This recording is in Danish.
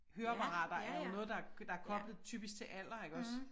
Høreapparater er jo noget der der er koblet typisk til alder iggås